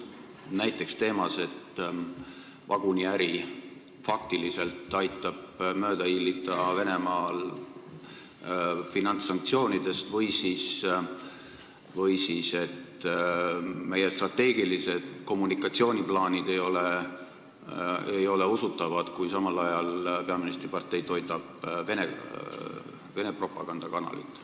Näiteks vaguniäri Venemaal aitab mööda hiilida finantssanktsioonidest ja meie strateegilised kommunikatsiooniplaanid ei ole usutavad, kui samal ajal peaministri partei toidab Vene propagandakanalit.